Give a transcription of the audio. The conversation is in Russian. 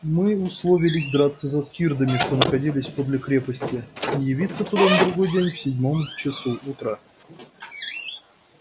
мы условились драться за скирдами что находились подле крепости и явиться туда на другой день в седьмом часу утра